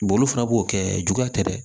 olu fana b'o kɛ juguya tɛ dɛ